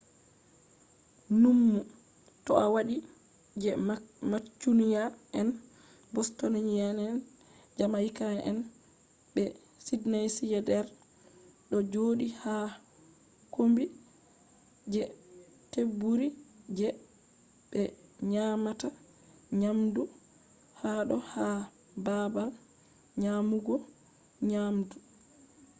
nummu to a wadi je mancunia'en bostonia'en jamaica'en be sydneysider do jodi ha kombi je teburi je be nyamata nyamdu hado ha babal nyamugo nyamdu